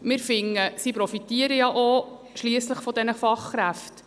Wir finden, sie profitieren ja schliesslich auch von diesen Fachkräften.